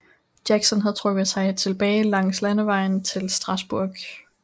Jackson havde trukket sig tilbage langs landevejen til Strasburg